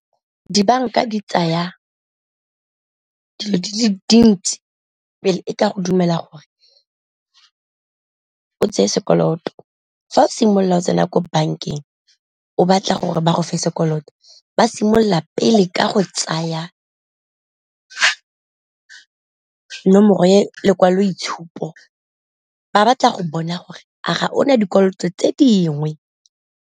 Dibanka di tsaya dilo di le dintsi pele e ka go dumela gore o tseye sekoloto fa o simolola o tsena ko bankeng o batla gore ba go fa sekoloto, ba simolola pele ka go tsaya nomoro e lekwaloitshupo ba batla go bona gore a ga ona dikoloto tse dingwe.